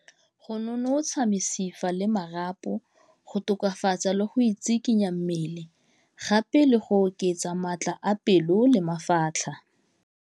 Go nonotsha mesifa le marapo, go tokafatsa le go itsikinya mmele, gape le go oketsa maatla a pelo le mafatlha.